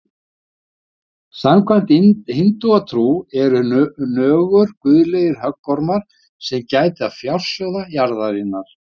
Samkvæmt hindúatrú eru nögur guðlegir höggormar sem gæta fjársjóða jarðarinnar.